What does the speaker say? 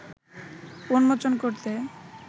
উন্মোচন করতে